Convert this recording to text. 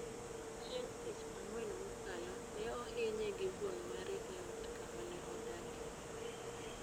Chieng' Tich Ang'wen mokalo, ne ohinye gi wuon mare e ot kama ne odakie.